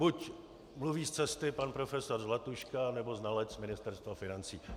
Buď mluví z cesty pan profesor Zlatuška, nebo znalec Ministerstva financí.